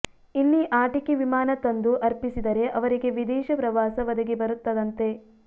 ಇಲ್ಲಿ ಆಟಿಕೆ ವಿಮಾನ ತಂದು ಅರ್ಪಿಸಿದರೆ ಅವರಿಗೆ ವಿದೇಶ ಪ್ರವಾಸ ಒದಗಿಬರುತ್ತದಂತೆ